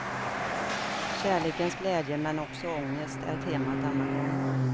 Kärlekens glädje men också ångest är temat denna gång.